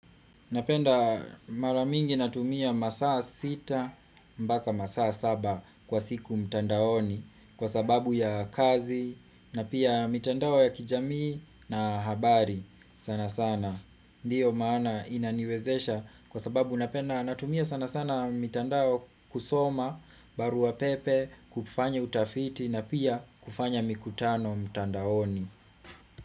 Napenda maramingi natumia masaa sita mpaka masaa saba kwa siku mtandaoni kwa sababu ya kazi na pia mitandao ya kijamii na habari sana sana. Ndiyo maana inaniwezesha kwa sababu napenda natumia sana sana mitandao kusoma, barua pepe, kufanya utafiti na pia kufanya mikutano mtandaoni.